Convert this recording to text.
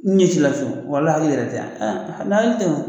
Ɲɛcila cu walah u yɛrɛ tɛ yan